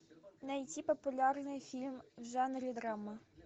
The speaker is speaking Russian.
найти популярные фильмы в жанре драма